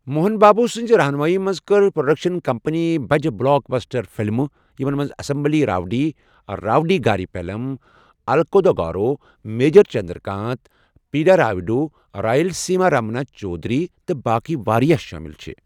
موہن بابو سنٛز رہنمٲیی منٛز کرِ پروڈکشن کمپنی بجہِ بلاک بسَٹر فلمہٕ یِمَن منٛز assembly rowdy, rowdy Gari Pellam, Alludu Garu, major Chandrakanth, Pedarayudu, Rayalaseema Ramanna Chowdary, تہٕ باقٕے واریاہ شٲمِل چھِ۔